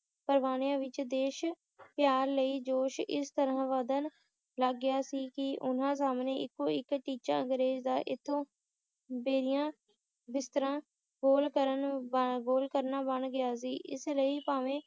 ਪਰਵਾਨਿਆਂ ਵਿੱਚ ਦੇਸ਼ ਪਿਆਰ ਲਈ ਜੋਸ਼ ਇਸ ਤਰ੍ਹਾਂ ਵਧਣ ਲੱਗ ਗਿਆ ਸੀ ਕਿ ਉਨ੍ਹਾਂ ਸਾਮ੍ਹਣੇ ਇੱਕੋ ਇੱਕ ਟੀਚਾ ਅੰਗਰੇਜ ਦਾ ਇੱਥੋਂ ਬੋਰੀਆਂ ਬਿਸਤਰਾ ਗੋਲ ਕਰਨਾ ਬਣ ਗਿਆ ਸੀ ਇਸ ਲਈ ਭਾਵੇਂ